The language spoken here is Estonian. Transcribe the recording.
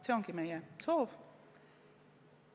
See ongi meie soov.